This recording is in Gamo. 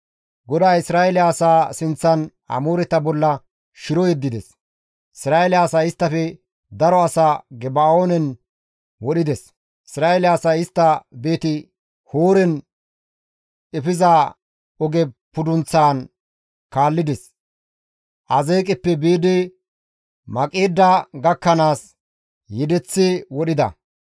GODAY Isra7eele asaa sinththan Amooreta bolla shiro yeddides; Isra7eele asay isttafe daro asaa Geba7oonen wodhides. Isra7eele asay istta Beeti-Horoone efiza oge pudunththan kaallides; Azeeqeppe biidi Maqeeda gakkanaas yedeththi wodhida.